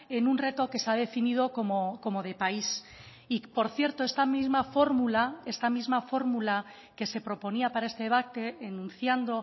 en un reto que se ha definido como de país y por cierto esta misma fórmula esta misma fórmula que se proponía para este debate enunciando